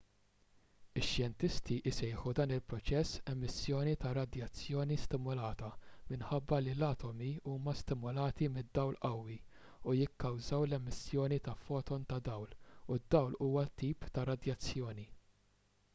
ix-xjentisti jsejħu dan il-proċess emissjoni ta' radjazzjoni stimulata minħabba li l-atomi huma stimulati mid-dawl qawwi u jikkawżaw l-emissjoni ta' foton ta' dawl u d-dawl huwa tip ta' radjazzjoni